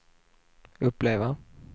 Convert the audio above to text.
uppleva